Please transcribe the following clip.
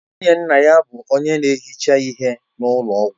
Nwunye nna ya bụ onye na-ehicha ihe na ụlọ ọgwụ